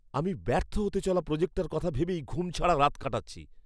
আমি ব্যর্থ হতে চলা প্রোজেক্টটার কথা ভেবেই ঘুমছাড়া রাত কাটাচ্ছি।